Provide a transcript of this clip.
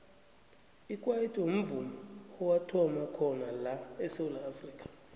ikwaito mvumo owathoma khona la esewula afrika